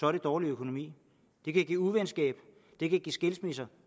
er det dårlig økonomi det kan give uvenskab det kan give skilsmisser